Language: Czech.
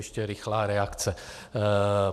Ještě rychlá reakce.